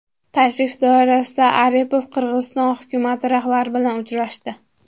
Tashrif doirasida Aripov Qirg‘iziston hukumati rahbari bilan uchrashdi .